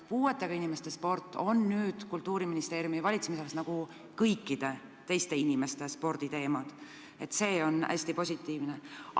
Puuetega inimeste sport on nüüd Kultuuriministeeriumi valitsemisalas nagu kõikide teiste inimeste sport, ja ma pean tunnistama, et see on hästi positiivne.